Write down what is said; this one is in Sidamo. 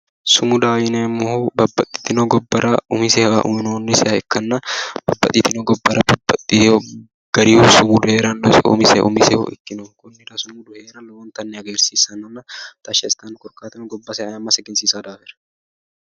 Sumudaho yineemmohu babbaxitino gobbara umiseha uuyiinoonniseha ikkanna babbaxitewo gobbara babbaxewo garihu sumudu heerannose umise umiseha ikkinohu,,, hagiirssisannoenna tashshi assitanno korkaatino gobbasiha ayiimmasi egensiisaaha ikkino daafira.